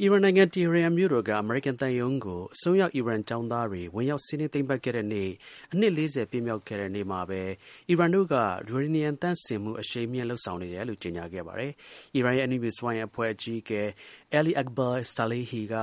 အီရန်နိုင်ငံ ၊ တဟီရန်မြို့တော်က အမေရိကန်သံရုံးကို အစွန်းရောက် အီရန်ကျောင်းသားတွေ ဝင်ရောက်စီးနင်းသိမ်းပိုက်ခဲ့တဲ့နေ့ အနှစ် ၄၀ ပြည့်ခဲ့မြောက်တဲ့နေ့မှာပဲ အီရန်တို့က ယူရေနီယံ သန့်စင်မှုကို အရှိန်မြှင့် လုပ်ဆောင်နေတယ်လို့ ကြေညာခဲ့ပါတယ်။ အီရန်ရဲ့ အဏုမြူစွမ်းအင်အဖွဲ့ အကြီးအကဲ Ali Akbar Saleihi က